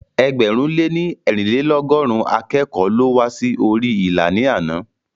Ẹgbẹ̀rún lè ní eerinlelogọrun akẹ́kọ̀ọ́ ló wá sí orí ilà ní àná